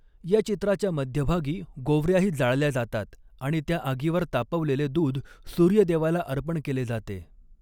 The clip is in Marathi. या चित्राच्या मध्यभागी गोवऱ्याही जाळल्या जातात आणि त्या आगीवर तापवलेले दूध सूर्यदेवाला अर्पण केले जाते.